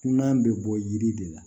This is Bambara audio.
Kunan bɛ bɔ yiri de la